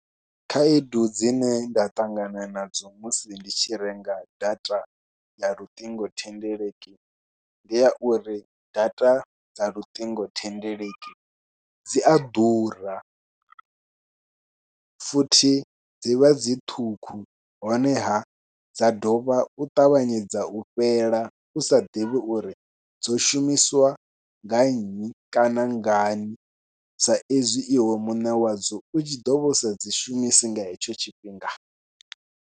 Khaedu dzine nda ṱangana nadzo musi ndi tshi renga data ya luṱingothendeleki ndi ya uri data dza luṱingothendeleki dzi a ḓura futhi dzi vha dzi ṱhukhu, honeha dza dovha u ṱavhanyedza u fhela u sa ḓivhi uri dzo shumiswa nga nnyi kana ngani, saizwi iwe muṋe wadzo u tshi ḓo vha u sa dzi shumisi nga hetsho tshifhinga.